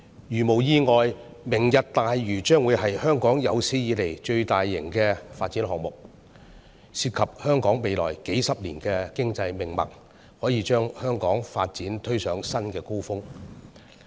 如無意外，"明日大嶼"將會是香港有史以來最大型的發展項目，涉及香港未來數十年的經濟命脈，可以把香港發展推上新的高峰。